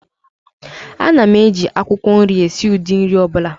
Ana m eji akwukwo nri esi ụdị nri ọ bụla